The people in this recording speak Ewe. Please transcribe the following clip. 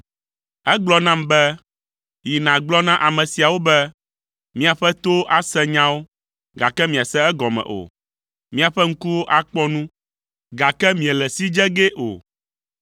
Egblɔ nam be, “Yi nàgblɔ na ame siawo be, ‘Miaƒe towo ase nyawo, gake miase egɔme o. Miaƒe ŋkuwo akpɔ nu, gake miele si dze gee o.’